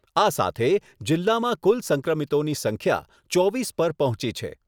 આ સાથે જીલ્લામાં કુલ સંક્રમિતોની સંખ્યા ચોવીસ પર પહોંચી છે.